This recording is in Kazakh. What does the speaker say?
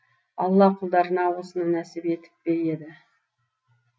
алла құлдарына осыны нәсіп етіп пе еді